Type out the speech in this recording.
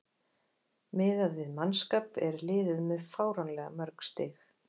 Miðað við mannskap er liðið með fáránlega mörg stig.